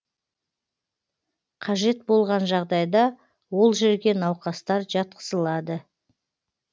қажет болған жағдайда ол жерге науқастар жатқызылады